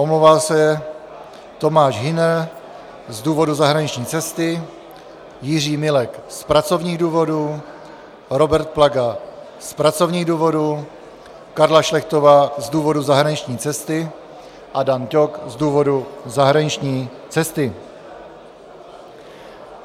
Omlouvá se Tomáš Hüner z důvodu zahraniční cesty, Jiří Milek z pracovních důvodů, Robert Plaga z pracovních důvodů, Karla Šlechtová z důvodu zahraniční cesty a Dan Ťok z důvodu zahraniční cesty.